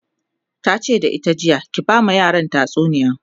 tace da ita jiya "ki ba ma yaran tatsuniya!"